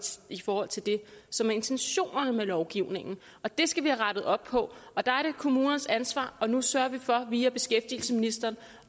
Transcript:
sige i forhold til det som er intentionen med lovgivningen og det skal vi have rettet op på der er det kommunernes ansvar og nu sørger vi for via beskæftigelsesministeren